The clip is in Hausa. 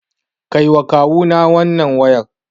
Kaiwa Kawuna wannan wayar.